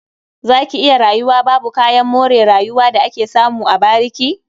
Za ki iya rayuwa babu kayan more rayuwa da ake samu a bariki?